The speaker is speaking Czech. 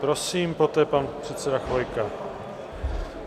Prosím, poté pan předseda Chvojka.